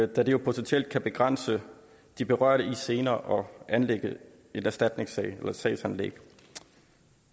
da det jo potentielt kan begrænse de berørte i senere at anlægge en erstatningssag